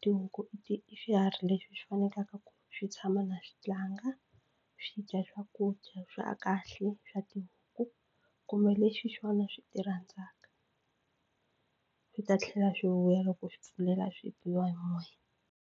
Tihuku i ti i swiharhi leswi swi fanelaka ku swi tshama na swi tlanga swi dya swakudya swa kahle swa tibuku kumbe leswi swona swi ti rhandzaka swi ta tlhela swi vuya loko u swi pfulela swi biwa hi moya.